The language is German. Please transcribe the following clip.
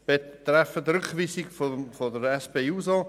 Betreffend Rückweisung der SP-JUSO-PSA-Fraktion